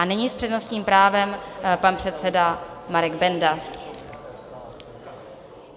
A nyní s přednostním právem pan předseda Marek Benda.